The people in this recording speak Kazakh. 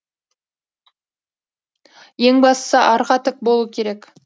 ең бастысы арқа тік болу керек